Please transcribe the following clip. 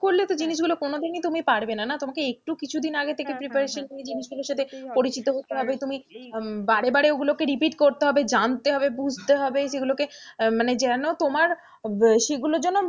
তাহলে তো জিনিস গুলো কোনদিনই তুমি পারবে না না, তোমাকে একটু কিছুদিন আগে থেকে preparation নিয়ে জিনিসগুলোর সাথে পরিচিত হতে হবে, তুমি বারে বারে ওগুলোকে repeat করতে হবে জানতে হবে বুঝতে হবে সেগুলোকে যেনো তোমার সেগুলো,